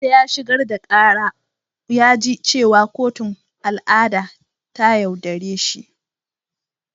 Wanda ya shigar da kara ya ji cewa kotun al’ada ta yaudare shi.